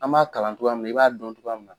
An m'a kalan cogoya min na i b'a dɔn cogoya min na.